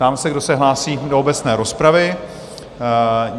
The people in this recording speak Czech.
Ptám se, kdo se hlásí do obecné rozpravy?